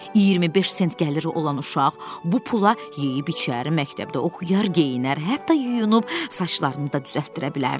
25 sent gəliri olan uşaq bu pula yeyib içər, məktəbdə oxuyar, geyinər, hətta yuyunub saçlarını da düzəltdirə bilərdi.